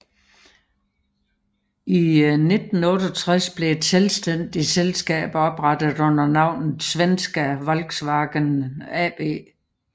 I 1968 blev et selvstændigt selskab oprettet under navnet Svenska Volkswagen AB